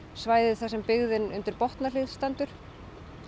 svæði þar sem byggðin undir stendur